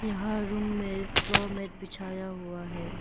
यहां रूम में floor mat बिछाया हुआ है।